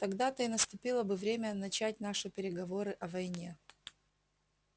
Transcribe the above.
тогда-то и наступило бы время начать наши переговоры о войне